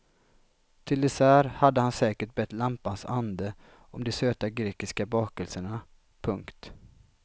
Till dessert hade han säkert bett lampans ande om de söta grekiska bakelserna. punkt